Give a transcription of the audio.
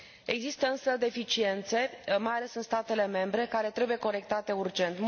Există însă deficiențe, mai ales în statele membre, care trebuie corectate urgent.